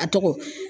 A tɔgɔ